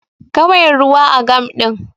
Kawai ruwa a gam din